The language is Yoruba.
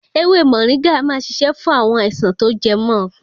Ewé Mọ̀ríngà a máa ṣiṣẹ́ fún àwọn àìsàn tó jẹ mọ́ ọkàn.